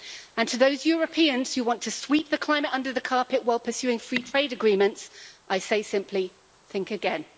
And to those Europeans who want to sweep the climate under the carpet while pursuing free trade agreements, I say simply, think again.